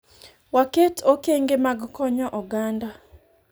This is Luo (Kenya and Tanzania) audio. waket okenge mag konyo oganda